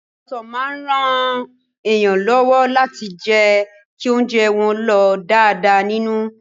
Ọsàn máa ran èèyàn lọ́wọ́ láti jẹ́ kí ounjẹ́ wọ́n lọ̀ dáadáa nínú.